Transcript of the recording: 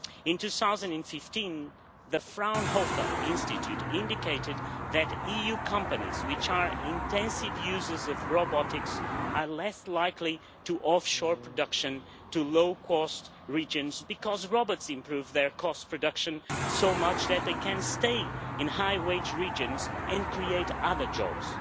In 2015, the Fraunhofer Institute indicated that EU companies which are intensive users of robotics are less likely to offshore production to low cost regions because robots improve their cost production so much that they can stay in high wage regions and create other jobs.